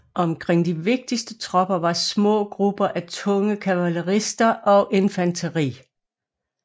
Omkring de vigtigste tropper var små grupper af tunge kavalerister og infanteri